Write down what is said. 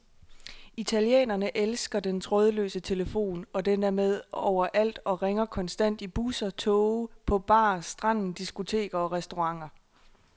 Italienerne elsker den trådløse telefon, og den er med overalt og ringer konstant i busser, toge, på bar, stranden, diskoteker og restauranter.